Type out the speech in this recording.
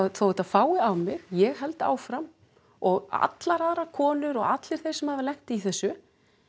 þó þetta fái á mig ég held áfram og allar aðrar konur og allir þeir sem hafa lent í þessu